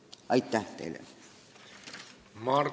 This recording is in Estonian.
Aitäh teile!